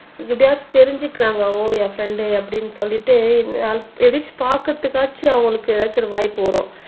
எப்படியாவது தெரிஞ்சிக்குறாங்க ஓ என் ஃப்ரெண்ட் அப்படின்னு சொல்லிட்டு அட்லீஸ்ட் பாக்குறதுக்காச்சும் அவங்களுக்கு ஏதாச்சும் ஒரு வாய்ப்பு வரும்